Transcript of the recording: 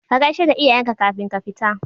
Ka gaisheda iyayenka kafin ka fita